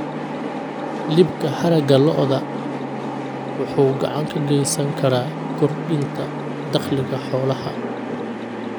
Iibka haragga lo'da wuxuu gacan ka geysan karaa kordhinta dakhliga xoolaha.